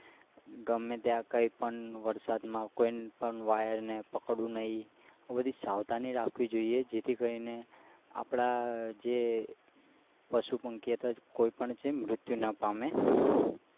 ગમે ત્યાં કઈ પણ વરસાદ માં કોઈ પણ wire ને પકડવું નહીં એ બધું સાવધાની રાખવી જોઈએ જે થી કરી ને આપણા જે પશુ પંખી કોઈ પણ મૃત્યુ ના પામે.